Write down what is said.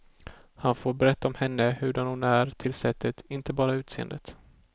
Han får berätta om henne, hurdan hon är till sättet, inte bara utseendet.